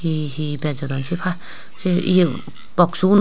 he he bejodon sepa se yegu boxsunod.